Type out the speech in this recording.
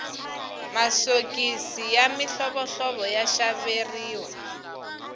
masiokisi ya mihlovohlovo ya xaveriwa